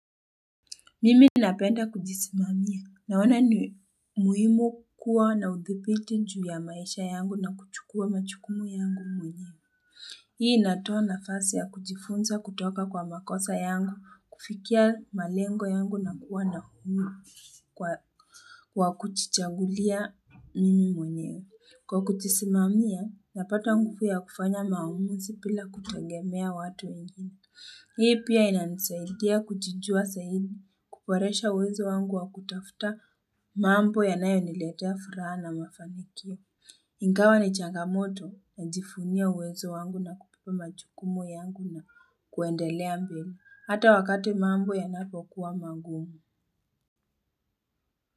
Mimi napenda kujisimamia, naona ni muhimu kuwa na udhipiti juu ya maisha yangu na kuchukua majukumu yangu mwenyewe. Hii inatoa nafasi ya kujifunza kutoka kwa makosa yangu, kufikia malengo yangu na kuwa na kunu kuchichagulia mimi mwenyewe. Kwa kujisimamia, napata ngupu ya kufanya maumuzi pila kutangemea watu wengine. Hii pia ina nisaidia kujijua saidi kukwaresha uwezo wangu wa kutafta mambo ya nayo niletea furaha na mafanikio. Ingawa ni changamoto na jifunia uwezo wangu na kupupa majukumu yangu na kuendelea mbele Hata wakati mambo ya napokuwa mangumu.